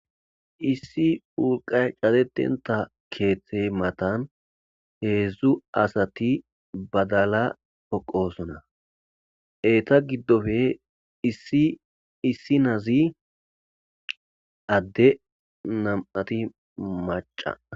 issi urqay catetenta keethtey matan heedzdzu asati badala poqosona eeta giddofe isiissi nazi adde nam7ati maca